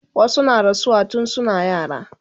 wasu na rasuwa tun suna yara